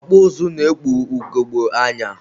ọkpụ ụzụ na-ekpu ugogbe anya.